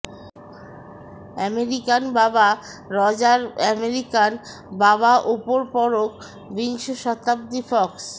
American বাবা Roger American বাবা উপর পরক বিংশ শতাব্দী ফক্স